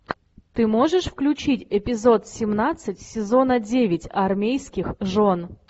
ты можешь включить эпизод семнадцать сезона девять армейских жен